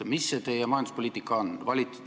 Mis see teie majanduspoliitika on?